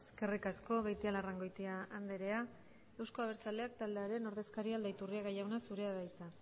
eskerrik asko beitialarrangoitia andrea euzko abertzaleak taldearen ordezkaria aldaiturriaga jauna zurea da hitza